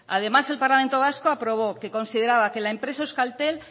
además el parlamento vasco aprobó que consideraba que la empresa euskaltel